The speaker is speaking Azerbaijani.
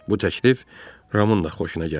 Bu təklif Ramın da xoşuna gəldi.